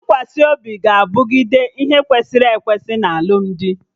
Ntụkwasị obi ga-abụgide ihe kwesịrị ekwesị na alụmdi